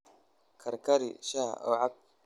Karkari shaaha oo cab.